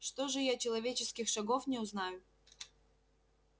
что же я человеческих шагов не узнаю